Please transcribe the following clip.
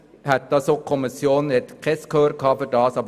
Darum hatte die Kommission kein Gehör dafür.